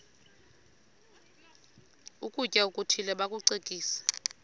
ukutya okuthile bakucekise